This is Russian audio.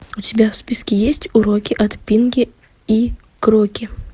у тебя в списке есть уроки от пинки и кроки